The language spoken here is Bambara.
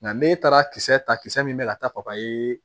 Nka ne taara kisɛ ta kisɛ min bɛ ka taa papaye